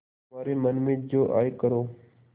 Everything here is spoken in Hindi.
तुम्हारे मन में जो आये करो